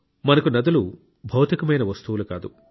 మనకు నదులు భౌతికమైన వస్తువులు కావు